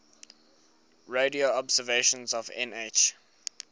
radio observations of nh